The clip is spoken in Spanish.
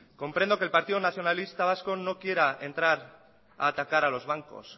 comprendo que el partido nacionalista vasco no quiera entrar a atacar a los bancos